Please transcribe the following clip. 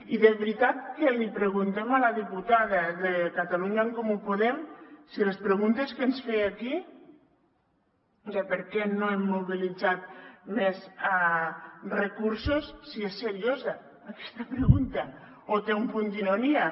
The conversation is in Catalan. i de veritat que li preguntem a la diputada de catalunya en comú podem si la pregunta que ens feia aquí de per què no hem mobilitzat més recursos si és seriosa aquesta pregunta o té un punt d’ironia